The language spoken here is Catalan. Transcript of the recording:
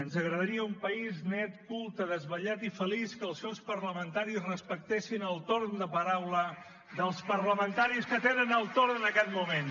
ens agradaria un país net culte desvetllat i feliç que els seus parlamentaris respectessin el torn de paraula dels parlamentaris que tenen el torn en aquest moment